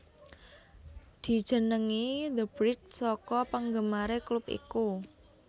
Dijenengi the bridge saka penggemare klub iku